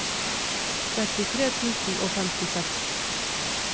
trettitre tusen og femtiseks